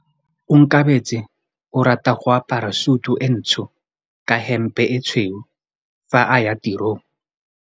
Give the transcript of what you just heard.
Onkabetse o rata go apara sutu e ntsho ka hempe e tshweu fa a ya tirong.